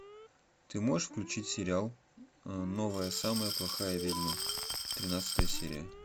ты можешь включить сериал новая самая плохая ведьма тринадцатая серия